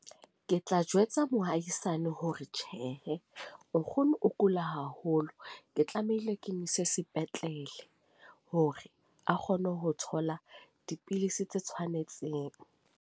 Ke tla jwetsa mohaisane hore tjhehe nkgono, o kula haholo. Ke tlamehile ke mo ise sepetlele hore a kgone ho thola dipidisi tse tshwanetseng.